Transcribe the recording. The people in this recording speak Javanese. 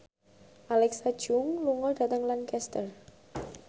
Alexa Chung lunga dhateng Lancaster